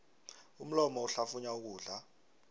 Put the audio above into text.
umlomo uhlafunya ukudla